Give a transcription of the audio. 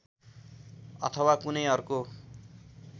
अथवा कुनै अर्को